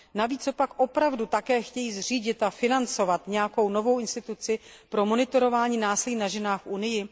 Navíc copak opravdu také chtějí zřídit a financovat nějakou novou instituci pro monitorování násilí na ženách v Unii?